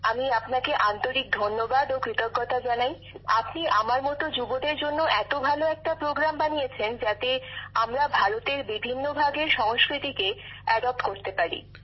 আমি আপনাকে আন্তরিক ধন্যবাদ ও কৃতজ্ঞতা জানাই আপনি আমার মত যুবকযুবতীদের জন্য এত ভাল একটা কর্মসূচী বানিয়েছেন যাতে আমরা ভারতের বিভিন্ন ভাগের সংস্কৃতিক বৈচিত্রর সঙ্গে নিজেদের মানিয়ে নিতে পারি